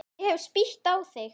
Ég hef spýtt á þig.